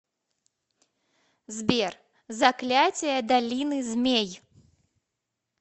сбер заклятия долины змей